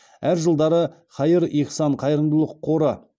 әр жылдары хаир ихсан қайырымдылық қоры